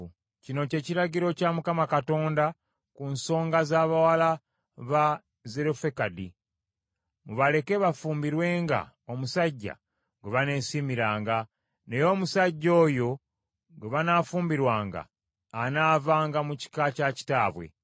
Kino kye kiragiro kya Mukama Katonda ku nsonga z’abawala ba Zerofekadi: Mubaleke bafumbirwenga omusajja gwe baneesiimiranga, naye omusajja oyo gwe banaafumbirwanga anaavanga mu kika kya kitaabwe.